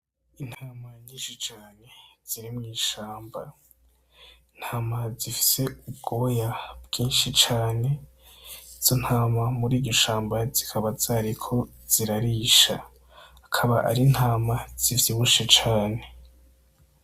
Intama nyinshi cane ziri mw'ishamba ,intama zifise ubwoya bwinshi cane ,izo ntama mur'iryo shamba zikaba zariko zirarisha. Akaba ari intama zivyibushe cane.